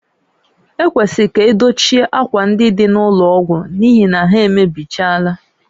Ekwesịrị ka edochie ákwà ndị dị n'ụlọ ọgwụ n'ihi na ha emebichaala